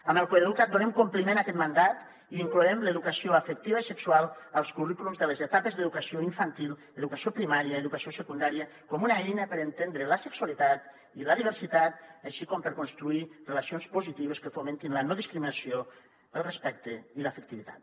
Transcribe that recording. amb el coeduca’t donem compliment a aquest mandat i incloem l’educació afectiva i sexual als currículums de les etapes d’educació infantil educació primària i educació secundària com una eina per entendre la sexualitat i la diversitat així com per construir relacions positives que fomentin la no discriminació el respecte i l’afectivitat